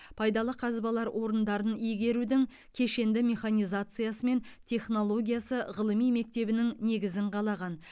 пайдалы қазбалар орындарын игерудің кешенді механизациясы мен технологиясы ғылыми мектебінің негізін қалаған